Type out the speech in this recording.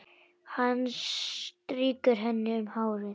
Hann strýkur henni um hárið.